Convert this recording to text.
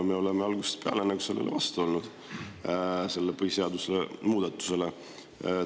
Me oleme algusest peale sellele põhiseaduse muudatusele vastu olnud.